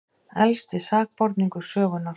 Elsti sakborningur sögunnar